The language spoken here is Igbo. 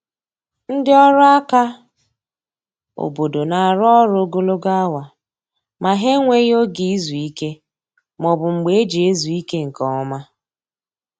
Ndị ọrụ aka obodo na-arụ ọrụ ogologo awa, ma ha enweghi oge izu ike ma ọ bụ mgbe eji ezu ike nke ọma